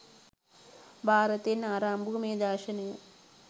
භාරතයෙන් ආරම්භ වූ මේ දර්ශනය